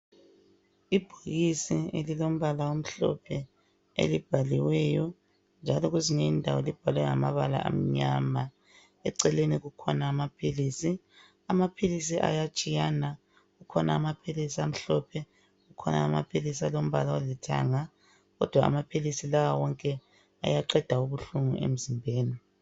Ibhokisi elilombala omhlophe elibhaliweyo njalo kwezinye indawo libhalwe ngamabala amnyama eceleni kukhona amaphilizi. Amaphilisi ayatshiyana kukhona amaphilisi amhlophe kukhona Amaphilisi alombala olithanga kodwa amaphilisi lawa wonke ayaqeda ubuhlungu emzimbeni.